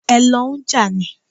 Ẹ lọ n jà ni?